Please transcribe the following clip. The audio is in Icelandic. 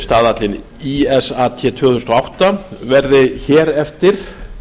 staðallinn ísat tvö þúsund og átta verði hér eftir